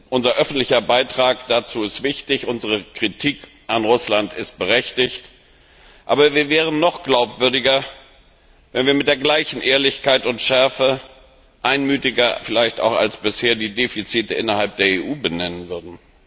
Unser öffentlicher Beitrag dazu ist wichtig, unsere Kritik an Russland ist berechtigt, aber wir wären noch glaubwürdiger, wenn wir mit der gleichen Ehrlichkeit und Schärfe einmütiger vielleicht auch als bisher die Defizite innerhalb der EU benennen würden.